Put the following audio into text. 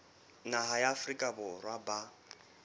naha ya afrika borwa ba